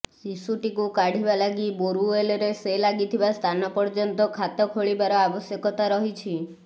ଶିଶୁଟିକୁ କାଢିବା ଲାଗି ବୋରୱେଲରେ ସେ ଲାଗିଥିବା ସ୍ଥାନ ପର୍ଯ୍ୟନ୍ତ ଖାତ ଖୋଳିବାର ଆବଶ୍ୟକତା ରହିଛି